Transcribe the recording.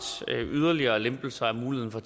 yderligere lempelser af muligheden for